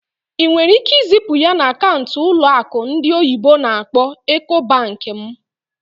Ị nwere ike izipu ya na akaụntụ ụlọ akụ ndị oyibo n'akpọ "Ecobank" m?